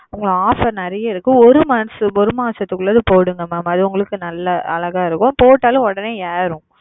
உங்களுக்கு offer நெறைய இருக்கு ஒரு மாசத்துக்கு உள்ளது போடுங்க mam நல்ல அழகா இருக்கும் போடடாலும் உடனே ஏறும்